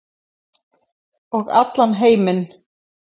Og allan heiminn.